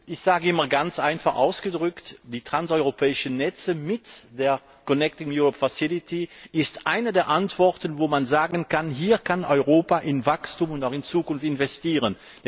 Ich sage immer ganz einfach ausgedrückt Die transeuropäischen Netze mit der Connecting Europe Facility sind eine der Antworten, bei denen man sagen kann Hier kann Europa in Wachstum und in die Zukunft investieren!